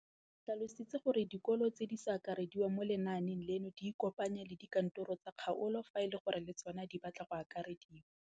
O tlhalositse gore dikolo tse di sa akarediwang mo lenaaneng leno di ikopanye le dikantoro tsa kgaolo fa e le gore le tsona di batla go akarediwa.